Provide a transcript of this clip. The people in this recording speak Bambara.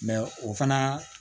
o fana